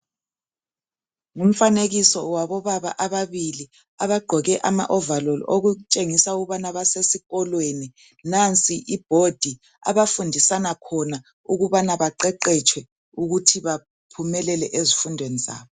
Ngumfanekiso wabobaba ababili abagqoke amawovaloli okutshengisa ukubana basesikolweni. Nansi ibhodi abafundisana khona ukubana baqeqetshwe ukuthi baphumelele ezifundweni zabo.